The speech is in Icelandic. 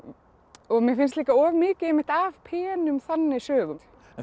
og mér finnst líka of mikið af penum þannig sögum